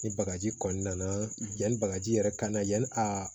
Ni bagaji kɔnni nana yanni bagaji yɛrɛ ka na yan a